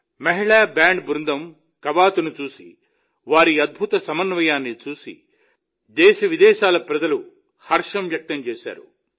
మహిళా బ్యాండ్ బృందం కవాతును చూసి వారి అద్బుతమైన సమన్వయాన్ని చూసి దేశ విదేశాల ప్రజలు హర్షం వ్యక్తం చేశారు